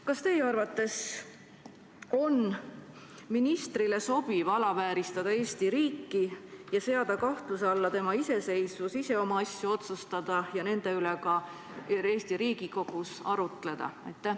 Kas teie arvates on ministrile sobiv alavääristada Eesti riiki ja seada kahtluse alla tema iseseisvus ise oma asju otsustada ja nende üle ka Eesti Riigikogus arutleda?